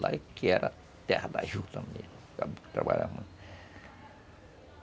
Lá que era terra da juta mesmo.